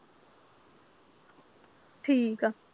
ਠੀਕ ਆ